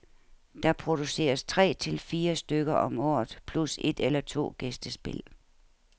Der produceres tre til fire stykker om året plus et eller to gæstespil.